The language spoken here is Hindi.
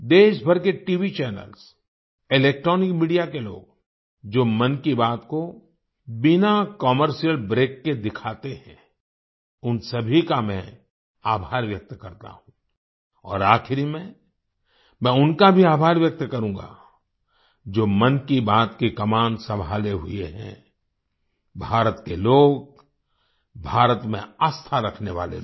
देशभर के टीवी चैनल्स इलेक्ट्रॉनिक मीडिया के लोग जो मन की बात को बिना कमर्शियल ब्रेक के दिखाते हैं उन सभी का मैं आभार व्यक्त करता हूँ और आखिरी में मैं उनका भी आभार व्यक्त करूँगा जो मन की बात की कमान संभाले हुए हैं भारत के लोग भारत में आस्था रखने वाले लोग